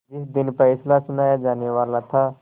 जिस दिन फैसला सुनाया जानेवाला था